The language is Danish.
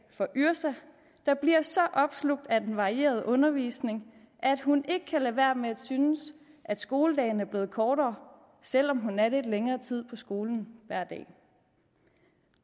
for yrsa der bliver så opslugt af den varierede undervisning at hun ikke kan lade være med at synes at skoledagen er blevet kortere selv om hun er lidt længere tid på skolen hver dag